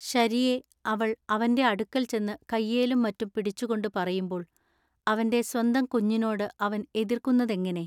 ശരിയെ അവൾ അവന്റെ അടുക്കൽ ചെന്നു കയ്യേലും മറ്റും പിടിച്ചുകൊണ്ടു പറയുമ്പോൾ അവന്റെ സ്വന്ത കഞ്ഞിനോടു അവൻ എതൃക്കുന്നതെങ്ങിനെ?